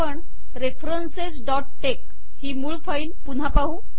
आपण referencesटेक्स ही मूळ फाईल पुन्हा पाहू